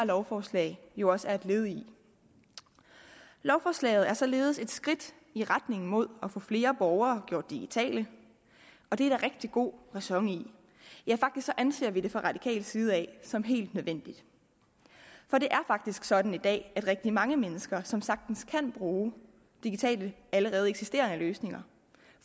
lovforslag jo også er et led i lovforslaget er således et skridt i retning mod at få flere borgere gjort digitale og det er der rigtig god ræson i ja faktisk anser vi det fra radikal side som helt nødvendigt for det er faktisk sådan i dag at rigtig mange mennesker som sagtens kan bruge allerede eksisterende digitale løsninger